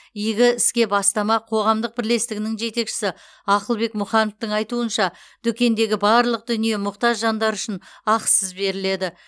игі ске бастама қоғамдық бірлестігінің жетекшісі ақылбек мұхановтың айтуынша дүкендегі барлық дүние мұқтаж жандар үшін ақысыз беріледі